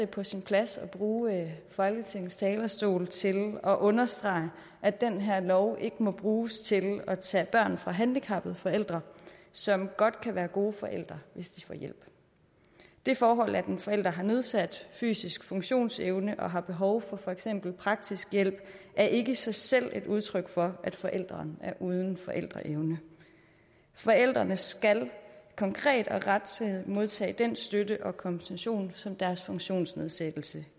på sin plads at bruge folketingets talerstol til at understrege at den her lov ikke må bruges til at tage børn fra handicappede forældre som godt kan være gode forældre hvis de får hjælp det forhold at en forælder har nedsat fysisk funktionsevne og har behov for for eksempel praktisk hjælp er ikke i sig selv et udtryk for at forælderen er uden forældreevne forældrene skal konkret og rettidigt modtage den støtte og kompensation som deres funktionsnedsættelse